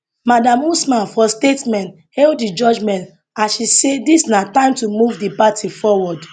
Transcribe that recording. madam usman for statement hail di judgement as she say dis na time to move di party forward